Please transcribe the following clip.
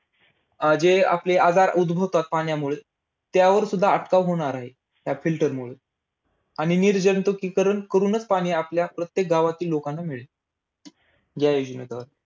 अं जे आपले आजार उद्भवता पाण्यामुळे, त्यावर सुद्धा अटकाव होणार आहे. filter मुळे. आणि निर्जंतुकीकरण करूनच पाणी आपल्या प्रत्येक गावातील लोकांना मिळेल. या योजनेद्वारे.